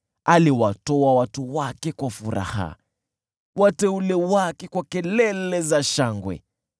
Aliwatoa watu wake kwa furaha, wateule wake kwa kelele za shangwe,